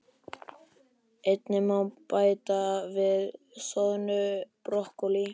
Einnig má bæta við soðnu brokkólíi.